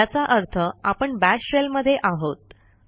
याचा अर्थ आपण बाश शेल मध्ये आहोत